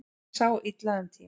Sá illa um tíma